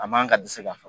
A man ka dɛsɛ ka fa